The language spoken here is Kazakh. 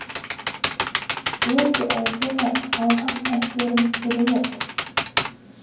өте әдемі алған әсерім керемет